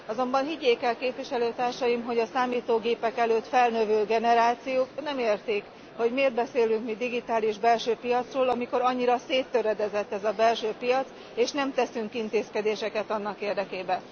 Azonban higgyék el Képviselőtársaim, hogy a számítógépek előtt felnövő generációk nem értik, hogy miért beszélünk mi digitális belső piacról, amikor annyira széttöredezett ez a belső piac, és nem teszünk intézkedéseket annak érdekében.